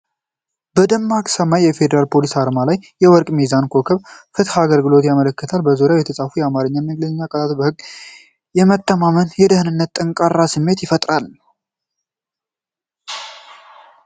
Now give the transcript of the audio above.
በደማቅ ሰማያዊ የፌደራል ፖሊስ አርማ ላይ፣ የወርቅ ሚዛንና ኮከብ ፍትህንና አገልግሎትን ያመለክታሉ። በዙሪያው የተጻፉት የአማርኛና የእንግሊዝኛ ቃላት በህግ የመተማመንና የደህንነት ጠንካራ ስሜት ይፈጥራሉ።